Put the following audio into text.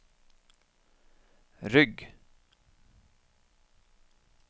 rygg